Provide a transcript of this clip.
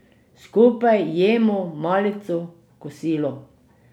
Skupaj jemo malico, kosilo.